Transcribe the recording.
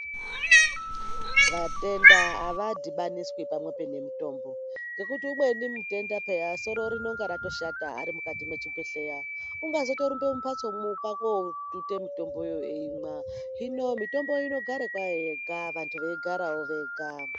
Vatenda avadhibaniswi pamwepo nemitombo, ngekuti umweni mutenda pheya soro rinonge ratoshata ari mukati mwechibhehleya, ungazotorumba mumbatsomwo, kwaakootuta mitomboyo eimwa, hino mitombo inogara kwayo yega, vantu veigarawo vega.